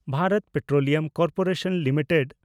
Bharat Petroleum Corporation limited